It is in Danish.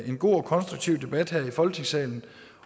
en god og konstruktiv debat her i folketingssalen